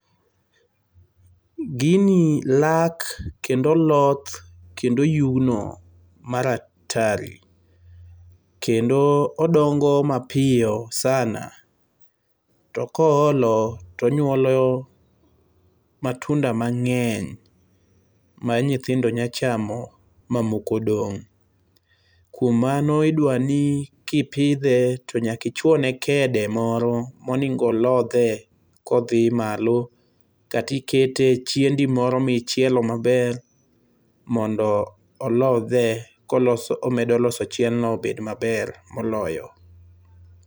Gini lak kendo oloth, kendo oyugno mar atari. Kendo odongo mapiyo sana. To koolo tonyuolo matunda mang'eny ma nyithindo nyalo chamo mamoko dong'. Kuom mano, idwa ni kipidhe to nyaka ichuone kede moro monego olodhe kodhi malo, kata ikete e chiendi moro ma ichielo maber mondo olodhe koloso komedo loso chiendno obed maber moloyo.